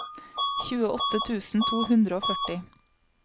tjueåtte tusen to hundre og førti